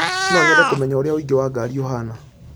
No nyende kũmenya ũrĩa ũingĩ wa ngari ũhaana